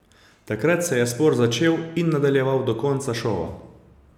Takrat se je spor začel in nadaljeval do konca šova.